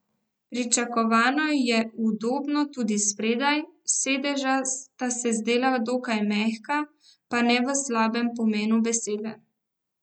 Pričakovano je udobno tudi spredaj, sedeža sta se zdela dokaj mehka, pa ne v slabem pomenu besede.